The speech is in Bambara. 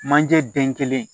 Manje den kelen